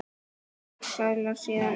Hreinn söðlaði síðan um.